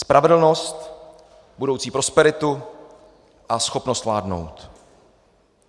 Spravedlnost, budoucí prosperitu a schopnost vládnout.